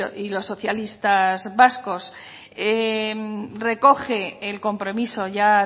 y los socialistas vascos recoge el compromiso ya